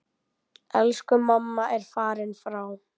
Elsku mamma er farin frá.